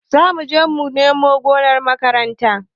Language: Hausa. Zamuje mu nome gonar makaranta